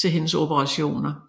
til hendes operationer